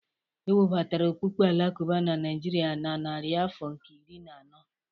E webatara okpukpe Alakụba na Naijiria na narị afọ nke iri na anọ.